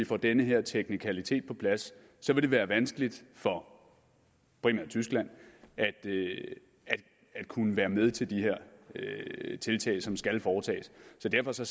får den her teknikalitet på plads så vil være vanskeligt for primært tyskland at kunne være med til de her tiltag som skal foretages så derfor ser